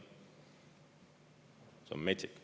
See on metsik.